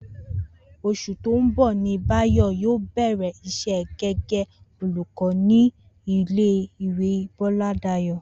Os̩ù tó ń bò̩ ni Báyò̩ yóò bè̩rè̩ is̩é̩ gé̩gé̩ olùkó ní ilé ìwé Bó̩ládayò̩